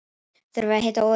Þurfa að hita olíuna